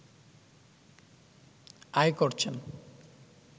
আয় করছেন